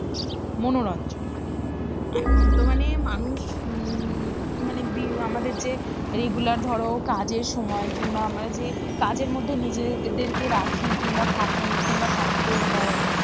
মনোরঞ্জন, এখন তো মানে মানুষ উম মানে বি আমাদের যে regular ধরো কাজের সময় কিংবা আমরা যে কাজের মধ্যে নিজেদেরকে রাখি কিংবা থাকি কিংবা থাকতে হয়,